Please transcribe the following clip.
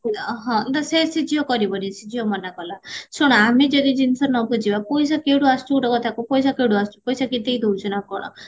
ହଁ ତ ସେ ସିଏ ଝିଅ କରିବନି ସେ ଝିଅ ମନ କଲା ଶୁଣ ଆମେ ଯଦି ଜିନିଷ ନବୁଝିବା ପଇସା କେଉଠୁ ଆସୁଚି ଗୋଟେ କଥା କୁହ ପଇସା କେଉଠୁ ଆସୁଚି ପଇସା କିଏ ଦେଇଦଉଚି ନା କଣ